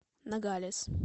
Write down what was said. ногалес